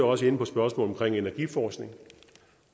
også inde på spørgsmålet om energiforskning